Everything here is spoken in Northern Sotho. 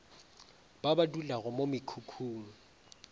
ba ba dulago mo mekhukhung